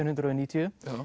hundruð og níutíu